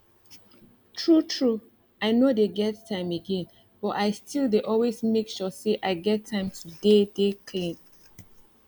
true true i no dey get time again but i still dey always make sure say i get time to dey dey clean